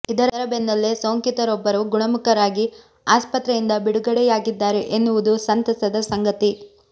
ಇದರ ಬೆನ್ನಲ್ಲೇ ಸೋಂಕಿತರೊಬ್ಬರು ಗುಣಮುಖರಾಗಿ ಆಸ್ಪತ್ರೆಯಿಂದ ಬಿಡುಗಡೆಯಾಗಿದ್ದಾರೆ ಎನ್ನುವುದು ಸಂತಸದ ಸಂಗತಿ